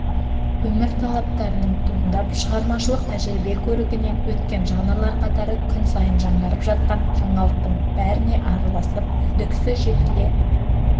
өмір талаптарының туындап шығармашылық тәжірибе көрігінен өткен жанрлар қатары күн сайын жаңарып жатқан жаңалықтың бәріне араласып үздіксіз жетіле